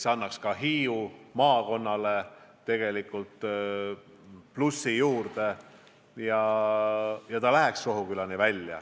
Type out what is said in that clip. See annaks ka Hiiu maakonnale plusse juurde.